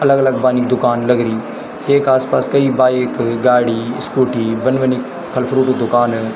अलग-अलग बनी क दुकान लगरी येक आस-पास कई बाईक गाड़ी स्कूटी बन बनी फल फ्रूटू दुकान --